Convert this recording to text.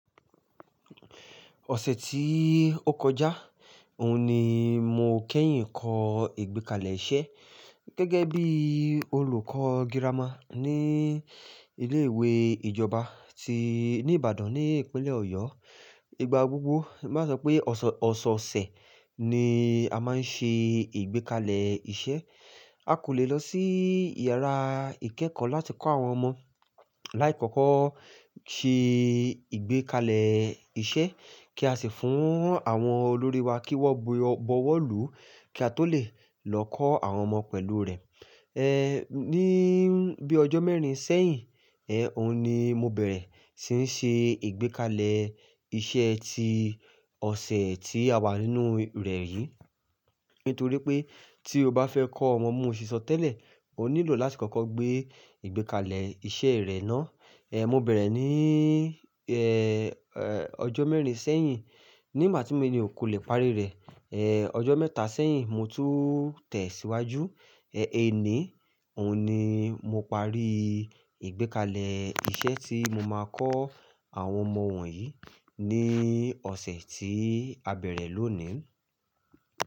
Ọ̀sẹ̀ tí ó kọjá, òun ni mo kẹ́yìn kọ́ ìgbékalẹ̀ iṣẹ́ gẹ́gẹ́ bí olùkọ́ girama ní ilé ìwé ìjọba tí ní Ìbàdàn ní ìpínlẹ̀ Ọ̀yọ́. Ìgbà gbogbo, má sọ pé ọ̀s-- ọ̀sọọ̀sẹ̀ ni a máa ń ṣe ìgbékalẹ̀ iṣẹ́. A kò le lọ sí yàrá ìkẹ́kọ̀ọ́ láti kọ́ àwọn ọmọ láì kọ́kọ́ ṣe ìgbékalẹ̀ iṣẹ́ kí a sì fún àwọn olórí wa kí wọ́n bo-bọwọ́lú kí a tó lè lọ kọ́ àwọn ọmọ pẹ̀lú rẹ̀. Ní bíi ọjọ́ mẹ́rin sẹ́yìn, òun ni mo bẹ̀rẹ̀ sí ṣe ìgbékalẹ̀ iṣẹ́ tí ọ̀sẹ̀ tí a wà nínú rẹ̀ yìí. Nítorí pé tí o bá fẹ́ kọ́ ọmọ bí mo ṣe sọ tẹ́lẹ̀, o nílò láti kọ́kọ́ gbé ìgbékalẹ̀ iṣẹ́ rẹ̀ ná. Mo bẹ̀rẹ̀ ní ọjọ́ mẹ́rin sẹ́yìn. Ní ìgbà tí mi ò lè parí rẹ̀, ọjọ́ mẹ́ta sẹ́yìn mo tún tẹ̀ síwájú. Èní, òun ni mo parí ìgbékalẹ̀ iṣẹ́ tí mo máa kọ́ àwọn ọmọ wọ̀nyí ní ọ̀sẹ̀ tí a bẹ̀rẹ̀ lónìí.